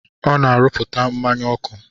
Ọ na-arụpụta mmanya ọkụ.